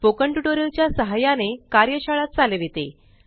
spoken tutorial च्या सहाय्याने कार्यशाळा चालविते